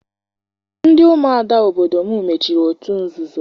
Ndị umuada obodo m mechiri otu nzuzo.